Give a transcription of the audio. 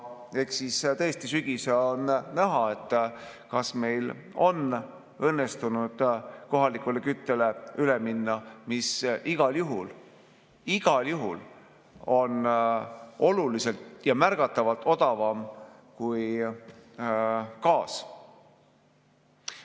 Eks siis tõesti ole sügisel näha, kas meil on õnnestunud üle minna kohalikule küttele, mis igal juhul on oluliselt ja märgatavalt odavam kui gaas.